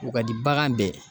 O ka di bagan bɛɛ